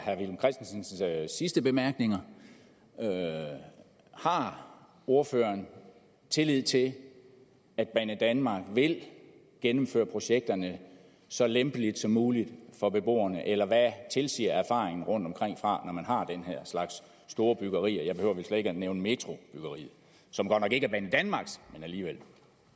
herre villum christensens sidste bemærkninger har ordføreren tillid til at banedanmark vil gennemføre projekterne så lempeligt som muligt for beboerne eller hvad tilsiger erfaringerne rundtomkring fra når man har den her slags store byggerier jeg behøver vel slet ikke at nævne metrobyggeriet som godt nok ikke er banedanmarks men alligevel